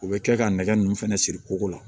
U bɛ kɛ ka nɛgɛ nunnu fɛnɛ siri kogo la